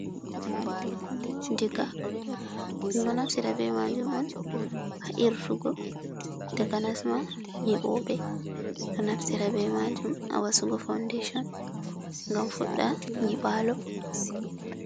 Diga ɗum ɗo naftira be majum on ha irtugo takanasma nyiɓoɓe ɗo naftira be majum a wasugo foundation gam fuɗda nyibalo.